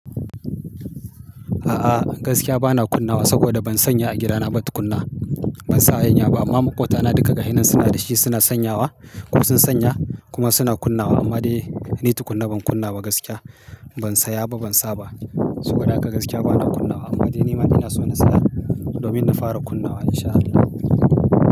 A'a gaskiya bana kunna wa saboda ban sanya a gidana ba tukunna. Ban sa hayinya ba amma maƙwabtana duka ga hannun suna da shi suna sanyawa ko sun sanya kuma suna kunna wa amma dai ni tukuna ban kunna ba gaskiya. Ban saya ba ban sa ba saboda haka gaskiya bana kunna wa amma dai nima ina so na saya domin na fara kunna wa in sha Allah.